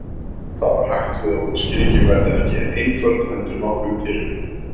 Þá er hætt við að útskýringin verði ekki einföld heldur nokkuð tyrfin.